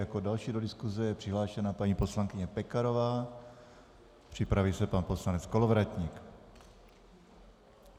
Jako další do diskuse je přihlášena paní poslankyně Pekarová, připraví se pan poslanec Kolovratník.